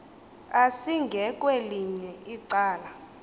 asinge kwelinye icala